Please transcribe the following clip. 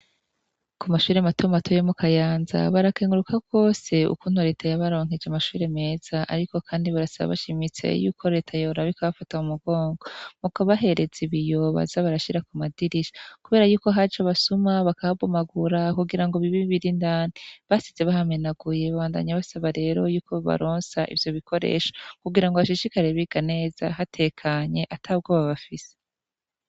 Ku mashure matoma atoyo mu kayanza barakenguruka kwose uku untoreta yabaronkeje amashure meza, ariko, kandi barasaba bashimitsaye yuko reta yorab ikaabafata mu mugongo muko bahereza ibiyobaza barashira ku madirisha, kubera yuko haje basuma bakabumagura kugira ngo bibe birindanti basize bahamenaguye bandanya basaba rero yuko balonsa ivyo bikoresha kugira ngo bashishikarie biga neza hatekanye atabwoba bafise.